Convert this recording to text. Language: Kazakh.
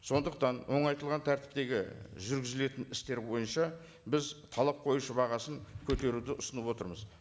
сондықтан оңайтылған тәртіптегі жүргізілетін істер бойынша біз талап қоюшы бағасын көтеруді ұсынып отырмыз